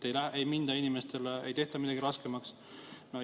Ütlete, et inimestele ei tehta midagi raskemaks.